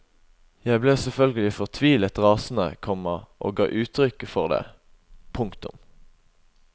Jeg ble selvfølgelig fortvilet rasende, komma og ga uttrykk for det. punktum